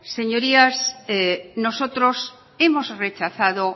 señorías nosotros hemos rechazado